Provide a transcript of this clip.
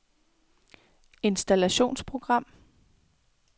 installationsprogram